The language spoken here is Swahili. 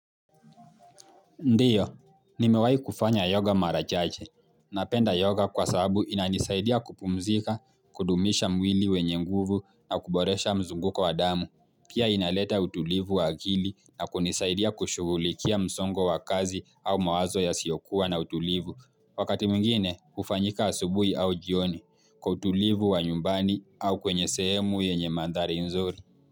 Ndiyo, nimewahi kufanya yoga mara chache. Napenda yoga kwa sababu inanisaidia kupumzika, kudumisha mwili wenye nguvu na kuboresha mzunguko wadamu. Pia inaleta utulivu akili na kunisaidia kushughulikia msongo wakazi au mawazo ya siyo kuwa na utulivu. Wakati mwingine, hufanyika asubuhi au jioni, kutulivu wa nyumbani au kwenye sehemu yenye mandhari nzuri.